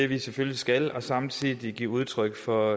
vi selvfølgelig skal og samtidig give udtryk for